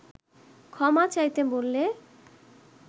ক্ষমা চাইতে বললে